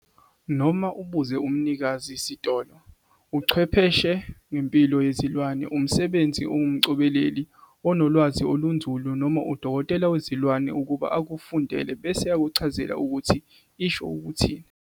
Noma ubuze umnikazi sitolo, uchwepheshe ngempilo yezilwane, umsebenzi ongumcobeleli, unolwazi olunzulu noma udokotela wezilwane ukuba akufundele bese ekuchazela ukuthi isho ukuthini.